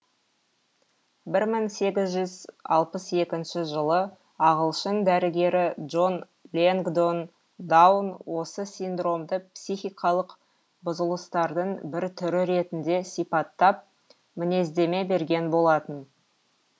бір мың сегіз жүз алпыс екінші жылы ағылшын дәрігері джон лэнгдон даун осы синдромды психикалық бұзылыстардың бір түрі ретінде сипаттап мінездеме берген болатын